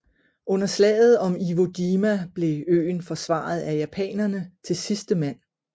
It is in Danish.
Under slaget om Iwo Jima blev øen forsvaret af japanerne til sidste mand